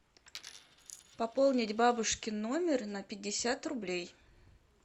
пополнить бабушкин номер на пятьдесят рублей